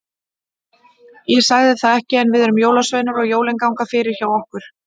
Ég sagði það ekki, en við erum jólasveinar og jólin ganga fyrir hjá okkur.